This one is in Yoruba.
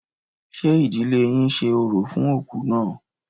Ṣé ìdílé yín ṣe orò fún òkú náà?